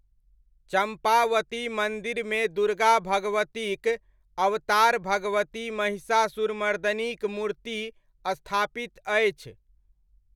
चम्पावती मन्दिरमे दुर्गा भगवतीक अवतार भगवती महिषासुरमर्दिनीक मूर्ति स्थापित अछि।